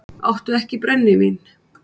Áttu ekki brennivín?